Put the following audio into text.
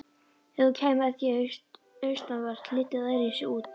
Ef þú kæmir að því austanvert liti það öðruvísi út.